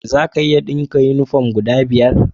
Za a iya dinka uniform guda biyar?